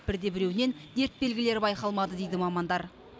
бірде біреуінен дерт белгілері байқалмады дейді мамандар